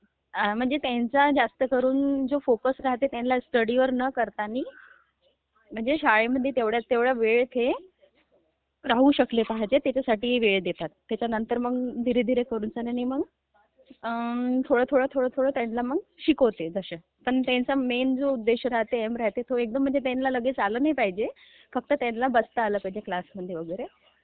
आ म्हणजे त्यांचा जास्तकरून फोकस जो राहते तो स्टडी नाही न करतानी, म्हणजे शाळेला तेवढा वेळं हे राहू शकले पाहिजे , हे त्याच्यासाठी वेळ देणं, मग तयांच्यानंतर मग, धीरे, धीरे थोड्यावेळानी मग थोडं थोडं काहितरी मगं शिकवते, असं...पण त्यंचा मेन जो उद्देश्य राहते, ऐम राहाते, म्ङमजे त्यांना लगेत आलं नाही पाहिजे, फक्त त्यांना बसता आलं पाहिजे क्लासमध्ये वगैरे...